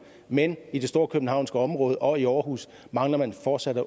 men i det storkøbenhavnske område og i aarhus mangler man fortsat